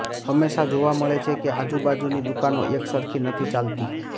હંમેશા જોવા મળે છે કે આજુ બાજુની દુકાનો એક સરખી નથી ચાલતી